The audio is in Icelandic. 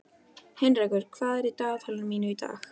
Heinrekur, hvað er í dagatalinu mínu í dag?